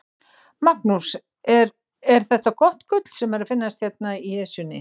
Magnús, er, er þetta gott gull sem er að finnast hérna í Esjunni?